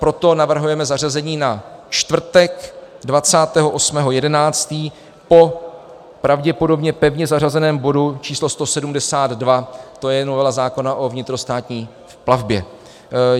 Proto navrhujeme zařazení na čtvrtek 28. 11. po pravděpodobně pevně zařazeném bodu číslo 172, to je novela zákona o vnitrostátní plavbě.